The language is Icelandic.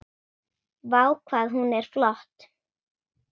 Vá, hvað hún er flott!